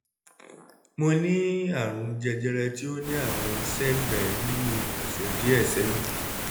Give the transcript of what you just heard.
mo ní àrùn jẹjẹrẹ tí ó ní àwọn sẹ́gbẹ̀ẹ́ nínú ọ̀sẹ̀ díẹ̀ sẹ́yìn